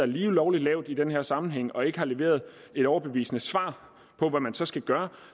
lige lovlig lavt i den her sammenhæng og ikke har leveret et overbevisende svar på hvad man så skal gøre